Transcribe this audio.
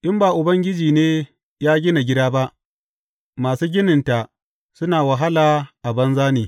In ba Ubangiji ne ya gina gida ba, masu gininta suna wahala a banza ne.